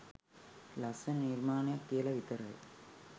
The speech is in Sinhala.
ලස්සන නිර්මාණයක් කියලා විතරයි.